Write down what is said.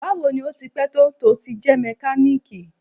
Bawo ni o ti pẹ to ti jẹ mekaniki?